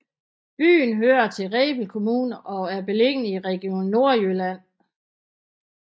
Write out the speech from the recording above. Byen hører til Rebild Kommune og er beliggende i Region Nordjylland